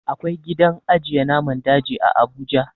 Akwai gidan ajiye naman daji a abuja